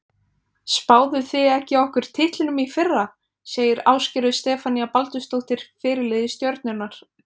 Spáðuð þið ekki okkur titlinum í fyrra? segir Ásgerður Stefanía Baldursdóttir, fyrirliði Stjörnunnar.